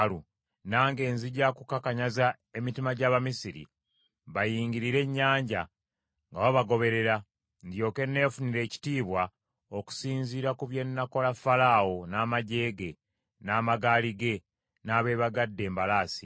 Nange nzija kukakanyaza emitima gy’Abamisiri, bayingirire ennyanja nga babagoberera. Ndyoke nefunire ekitiibwa okusinziira ku bye nnaakola Falaawo, n’amaggye ge, n’amagaali ge, n’abeebagadde embalaasi.